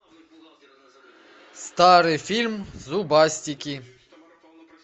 старый фильм зубастики